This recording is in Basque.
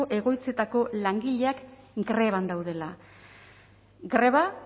egoitzetako langileak greban daudela greba